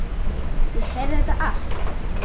Ég heyrði þetta allt.